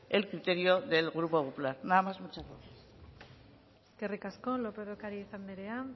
el criterio del grupo popular nada más muchas gracias eskerrik asko lópez de ocariz andrea